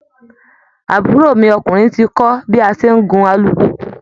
Àbúrò mi ọkùnrin ti kọ́ bí a ṣe ń gun alùpùpù